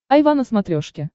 айва на смотрешке